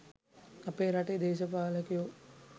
අපේ රටේ දේශපාලකයෝ